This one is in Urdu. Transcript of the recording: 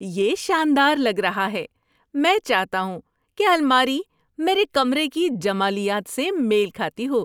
یہ شاندار لگ رہا ہے! میں چاہتا ہوں کہ الماری میرے کمرے کی جمالیات سے میل کھاتی ہو۔